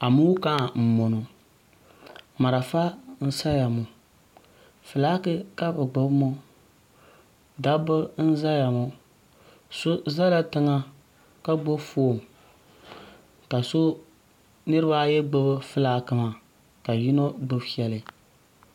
amokaa n boŋo marafa n saya ŋo fulaaki ka bi gbubi ŋo dabba n ʒɛya ŋo so ʒɛla tiŋa ka gbubi foon ka niraba ayi gbubi fulaaki maa ka yino gbubi shɛli